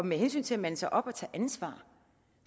med hensyn til at mande sig op og tage ansvar